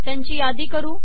त्यांची यादी करू